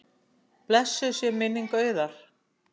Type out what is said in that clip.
Blessuð sé minning Auðar.